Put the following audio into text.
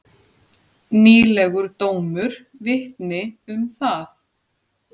Nýlegur dómur vitni um það.